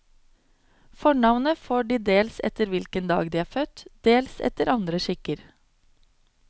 Fornavnet får de dels etter hvilken dag de er født, dels etter andre skikker.